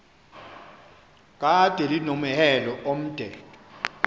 kade linomhelo omde